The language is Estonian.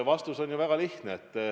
Vastus on väga lihtne.